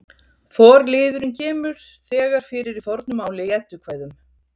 Forliðurinn kemur þegar fyrir í fornu máli í Eddukvæðum.